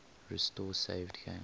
restore saved games